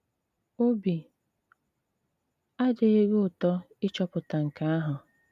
Óbì àdịghị gị ùtò ịchọ̀pụ̀tà nkè ahụ̀?